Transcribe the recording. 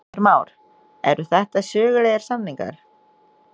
Heimir Már: Eru þetta sögulegir samningar?